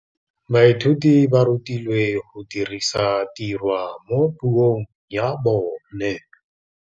Baithuti ba rutilwe go dirisa tirwa mo puong ya bone.